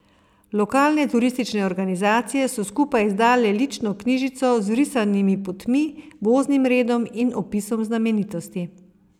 Lokalne turistične organizacije so skupaj izdale lično knjižico z vrisanimi potmi, voznim redom in opisom znamenitosti.